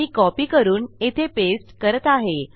मी copy करून येथे paste करत आहे